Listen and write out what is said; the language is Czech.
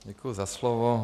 Děkuji za slovo.